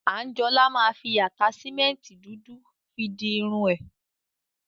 Anjola ma fi ataṣimẹnti dudu fi di irun ẹ.